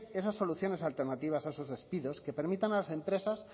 esas soluciones alternativas a esos despidos que permitan a las empresas